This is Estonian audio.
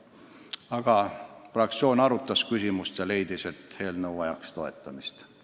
Aga meie fraktsioon arutas küsimust ja leidis, et eelnõu vajab toetamist.